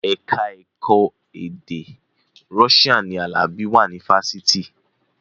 Ẹ̀ka ẹ̀kọ́ èdè Russian ni Alabi wà ní fásitì